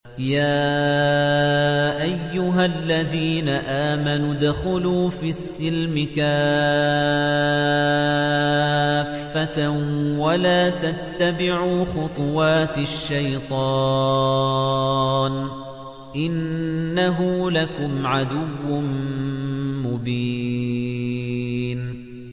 يَا أَيُّهَا الَّذِينَ آمَنُوا ادْخُلُوا فِي السِّلْمِ كَافَّةً وَلَا تَتَّبِعُوا خُطُوَاتِ الشَّيْطَانِ ۚ إِنَّهُ لَكُمْ عَدُوٌّ مُّبِينٌ